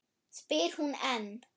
spyr hún enn.